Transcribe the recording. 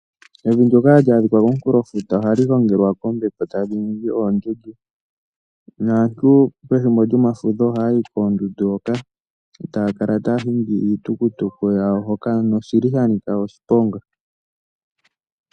Evi ndyoka ha li adhika komunkulofuta ohali gongelwa kombepo, tali ningi oondundu naantu pethimbo lyomafudho ohaya yi koondundu hoka ta ya kala taya hingi iitukutuku yawo hoka noshili sha nika oshiponga.